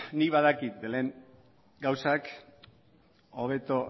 nik badakit belén gauzak hobeto